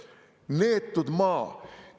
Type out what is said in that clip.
Neetud maa!